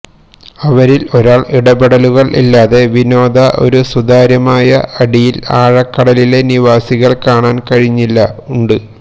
അവരിൽ ഒരാൾ ഇടപെടലുകൾ ഇല്ലാതെ വിനോദ ഒരു സുതാര്യമായ അടിയിൽ ആഴക്കടലിലെ നിവാസികൾ കാണാൻ കഴിഞ്ഞില്ല ഉണ്ട്